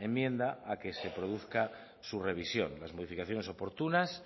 enmienda a que se produzca su revisión las modificaciones oportunas